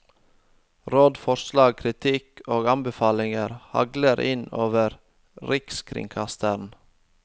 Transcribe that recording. Råd, forslag, kritikk og anbefalinger hagler inn over rikskringkasteren.